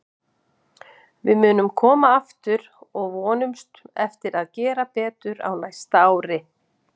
Við munum koma aftur og við vonumst eftir að gera betur á næsta ári.